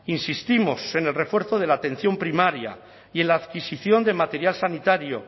insistimos en el refuerzo de la atención primaria y en la adquisición de material sanitario